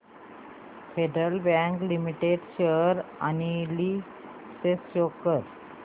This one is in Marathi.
federal bank limited share analysis show कर